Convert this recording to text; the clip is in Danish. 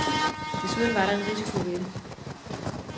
Desuden var der en risiko ved det.